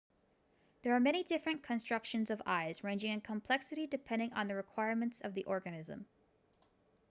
there are many different constructions of eyes ranging in complexity depending on the requirements of the organism